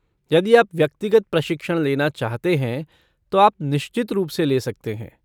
यदि आप व्यक्तिगत प्रशिक्षण लेना चाहते हैं, तो आप निश्चित रूप से ले सकते हैं।